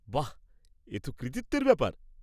বাহ্! এতো কৃতিত্বের ব্যাপার।